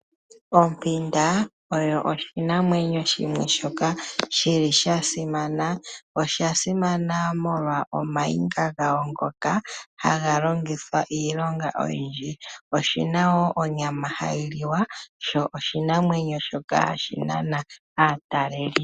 Ompinda oyo oshinamwenyo shimwe shoka shili shasimana, osha simana molwa omaniga gayo ngoka haga longithwa iilonga oyindji, oshina wo onyama hayi liwa sho oshi namwenyo shoka hashi shoka hashi nana aatateli.